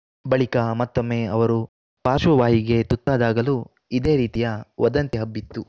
ಬಳಿಕ ಮತ್ತೊಮ್ಮೆ ಅವರು ಪಾಶ್ರ್ವವಾಯುಗೆ ತುತ್ತಾದಾಗಲೂ ಇದೇ ರೀತಿಯ ವದಂತಿ ಹಬ್ಬಿತ್ತು